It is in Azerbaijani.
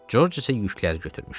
Corc isə yükləri götürmüşdü.